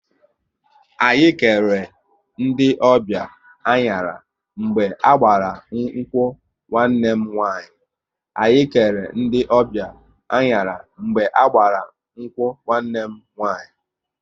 Anyị kere ndị ọbịa anyara mgbe a gbara nkwu nwanne m nwaanyị